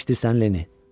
Eşidirsən, Lenni?